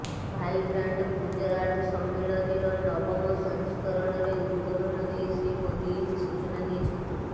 vibrant Gujarat ସମ୍ମିଳନୀର ନବମ ସଂସ୍କରଣରେ ଉଦବୋଧନ ଦେଇ ଶ୍ରୀ ମୋଦୀ ଏହି ସୂଚନା ଦେଇଛନ୍ତି